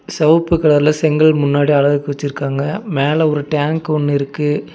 செவப்பு கலர்ல செங்கல் முன்னாடி அழகுக்கு வெச்சிருக்காங்க மேல ஒரு டேங்க் ஒன்னு இருக்கு.